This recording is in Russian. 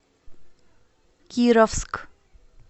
кировск